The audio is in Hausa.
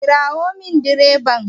Kirawo min direban!